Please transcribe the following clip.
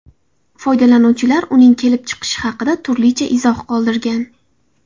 Foydalanuvchilar uning kelib chiqishi haqida turlicha izoh qoldirgan.